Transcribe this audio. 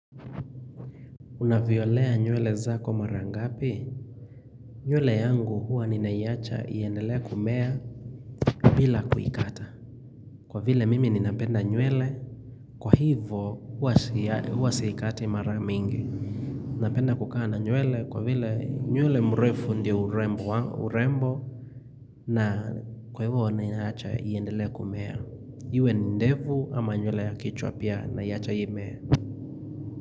Unavyolea nyuele za kwa mara ngapi, nyuele yangu huwa ni naiacha iendelea kumea bila kuikata Kwa vile mimi ni napenda nywele Kwa hivyo huwa siikati mara mingi Napenda kukana nyuele kwa vile nywele mrefu ndio urembo na kwa hivyo ni naiacha iendelea kumea, hivyo ni ndevu ama nywele ya kichwa pia naiacha imee.